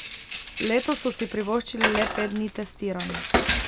Letos so si privoščili le pet dni testiranj.